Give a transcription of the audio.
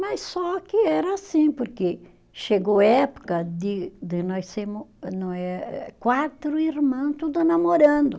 Mas só que era assim, porque chegou época de de nós sermos não eh eh, quatro irmã, tudo namorando.